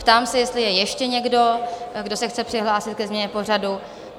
Ptám se, jestli je ještě někdo, kdo se chce přihlásit ke změně pořadu?